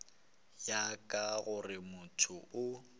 ya ka gore motho o